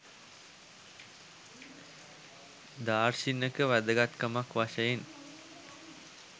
දාර්ශනික වැදගත්කමක් වශයෙන්